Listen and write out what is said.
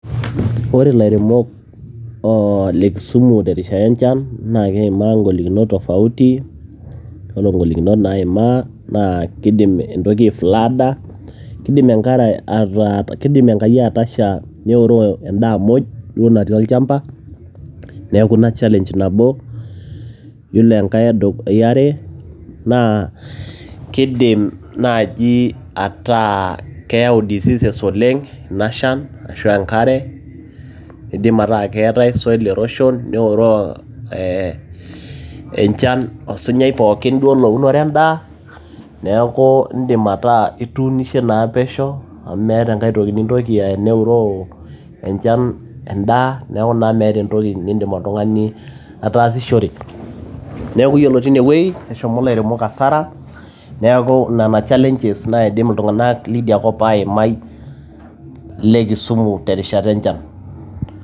ore ilairemok le kisumu tenkata enchan, naa keimaa ing'olikinot tofauti ,ore ing'olikinit naaimaa naa kidim intoki ai flooda. kidim enkai atasha neoroo edaa muj duo natii olchampa. neeku ina challenge nabo. ore enkae yare, kidim naaji ataa keyau diseases oleng enchan ashu enkare, kidim ataa keetae soil erosion neoroo enchan osunyai, pookin duo lounore edaa, neeku idim ataa ituunishe naa pesho amu meeta enkae toki nintoki anya teneoroo enchan edaa, neeku meeta naa entoki nintoki oltung'ani aidim ataasishore. neeku iyiolo teine wueji eshooo ilairemok asara.